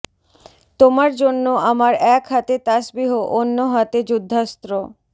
তোমার জন্য আমার এক হাতে তাসবিহ অন্য হাতে যুদ্ধাস্র